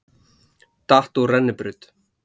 Datt úr rennibraut